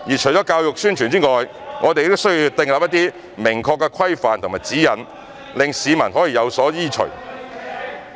除了教育宣傳外，我們亦需要定出一些明確的規範和指引，讓市民有所依循。